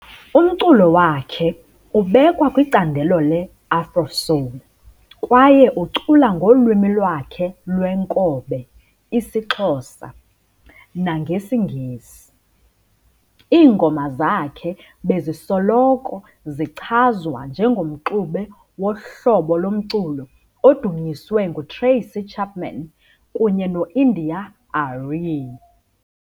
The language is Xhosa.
Umculo wakhe ubekwa kwicandelo le"Afrosoul" kwaye ucula ngolwimi lwakhe lweenkobe, isiXhosa, nagesiNgesi. Iingoma zakhe bezisoloko zichazwa njengomxube wohlobo lomculo odunyiswe nguTracy Chapman, kunye noIndia Arie.